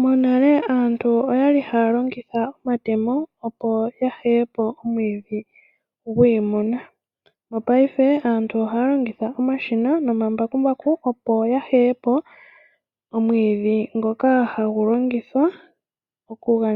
Monale aantu oya li haya longitha omatemo opo ya heye po omwiidhi gwiimuna. Mopayife aantu ohaya longitha omambakumbaku opo ga heye po omwiidhi ngoka hagu longithwa okupewa